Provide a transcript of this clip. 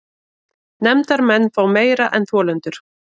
Nefndarmenn fá meira en þolendur